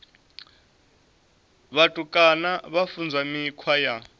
vhutukani vha funzwa mikhwa ya